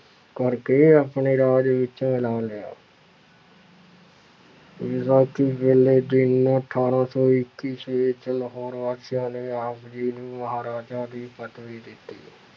ਕਰਕੇ ਆਪਣੇ ਰਾਜ ਵਿੱਚ ਮਿਲਾ ਲਿਆ ਵਿਸਾਖੀ ਵਾਲੇ ਦਿਨ ਅਠਾਰਾਂ ਸੌ ਇੱਕ ਈਸਵੀ ਵਿੱਚ ਲਾਹੌਰ ਵਾਸੀਆਂ ਨੇ ਆਪ ਜੀ ਨੂੰ ਮਹਾਰਾਜਾ ਦੀ ਪਦਵੀ ਦਿੱਤੀ।